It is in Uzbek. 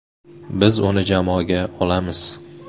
Biz uni jamoaga olamiz.